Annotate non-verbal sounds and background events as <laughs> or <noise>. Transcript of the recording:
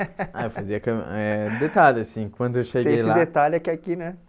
<laughs> Ah, eu fazia ca... Eh Detalhe, assim, quando eu cheguei lá... Tem esse detalhe que aqui, né?